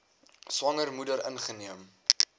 swanger moeder ingeneem